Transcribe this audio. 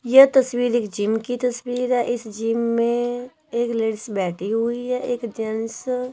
यह तस्वीर एक जिम की तस्वीर है इस जिम में एक लेडिज बैठी हुई है एक जेंट्स --